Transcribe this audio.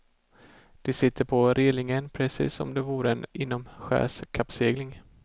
De sitter på relingen, precis som om det var en inomskärskappsegling.